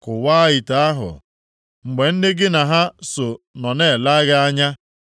“Kụwaa ite ahụ mgbe ndị gị na ha so nọ na-ele gị anya.